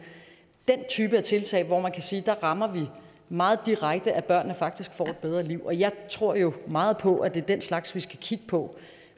er den type tiltag hvor man kan sige at der rammer vi meget direkte at børnene faktisk får et bedre liv og jeg tror jo meget på at det er den slags vi skal kigge på